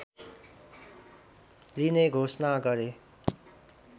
लिने घोषणा गरे